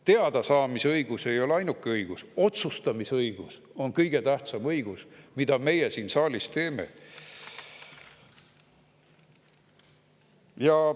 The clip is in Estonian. Teadasaamise õigus ei ole ainuke õigus, otsustamisõigus on kõige tähtsam õigus, mis meil siin saalis on.